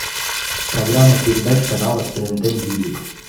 программа передач канала тнт мьюзик